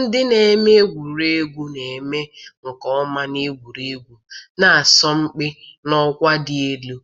Ndị na-eme egwuregwu na-eme nke ọma n'egwuregwu, na-asọmpi n'ọkwa dị elu,